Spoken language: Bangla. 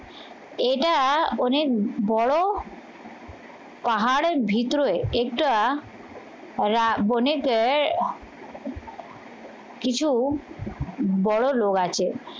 এটা অনেক বড় পাহাড়ের ভিতরে এটা রা বনেতে কিছু বড় লোক আছে